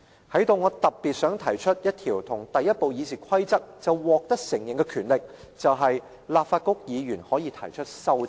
在此，我特別想提出一項在第一部議事規則就獲得承認的權力，便是"立法局議員可提出修正案"。